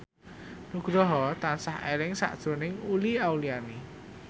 Nugroho tansah eling sakjroning Uli Auliani